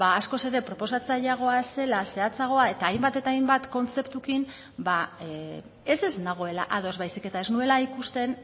ba askoz ere proposatzaileagoa zela zehatzagoa eta hainbat eta hainbat kontzeptuekin ez ez nagoela ados baizik eta ez nuela ikusten